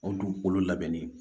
O dugukolo labɛnni